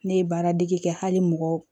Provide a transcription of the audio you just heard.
Ne ye baaradege kɛ hali mɔgɔ